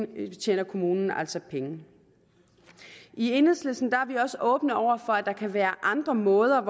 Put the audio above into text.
tjener kommunen altså penge i enhedslisten er vi også åbne over for at der kan være andre måder